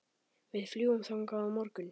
Við fljúgum þangað á morgun.